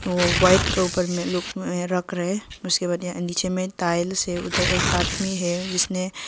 white के ऊपर में रख रहे हैं उसके बाद यहां नीचे में टाइल्स है उधर एक आदमी है जिसने--